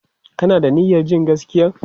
Ka na da niyyar jin gaskiyan?